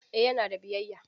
Eh yana da biyayya.